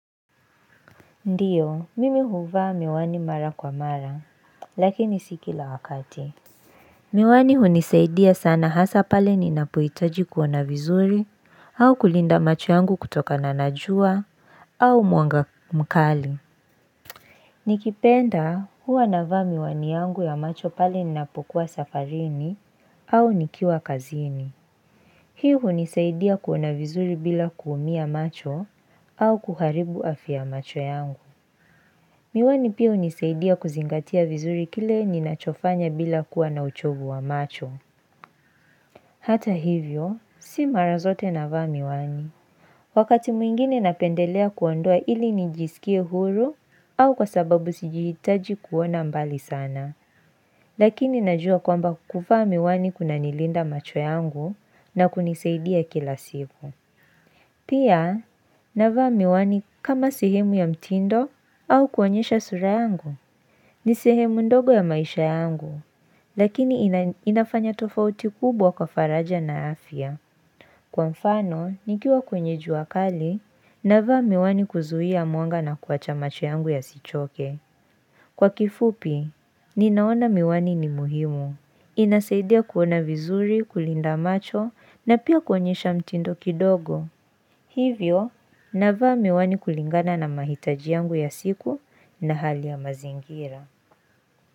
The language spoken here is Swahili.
Ndio, mimi huvaa miwani mara kwa mara, lakini si kila wakati. Miwani hunisaidia sana hasa pale ninapuitaji kuona vizuri, au kulinda macho yangu kutoka na na jua, au muanga mkali. Nikipenda huwa navaa miwani yangu ya macho pale ninapukuwa safarini, au nikiwa kazini. Hii hunisaidia kuona vizuri bila kuumia macho, au kuharibu afya macho yangu. Miwani pia unisaidia kuzingatia vizuri kile ninachofanya bila kuwa na uchovu wa macho. Hata hivyo, si marazote navaa miwani. Wakati mwingine napendelea kuondoa ili nijisikie huru au kwa sababu sijihitaji kuona mbali sana. Lakini najua kwamba kukufa miwani kuna nilinda macho yangu na kunisaidia kila siku. Pia, navaa miwani kama sehimu ya mtindo au kuonyesha sura yangu. Ni sehemu ndogo ya maisha yangu, lakini inafanya tofauti kubwa kwa faraja na afya. Kwa mfano, nikiwa kwenye jua kali, navaa miwani kuzuhia mwanga na kuwacha macho yangu yasichoke. Kwa kifupi, ninaona miwani ni muhimu. Inasaidia kuona vizuri, kulinda macho na pia kuonyesha mtindo kidogo. Hivyo, navaa miwani kulingana na mahitaji yangu ya siku na hali ya mazingira.